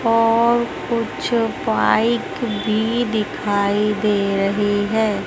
और कुछ बाइक भी दिखाई दे रही है।